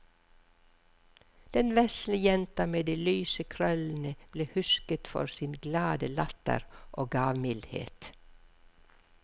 Den vesle jenta med de lyse krøllene ble husket for sin glade latter og gavmildhet.